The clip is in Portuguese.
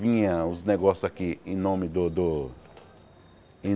Vinha os negócios aqui em nome do do